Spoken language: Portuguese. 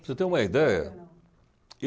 Para você ter uma ideia,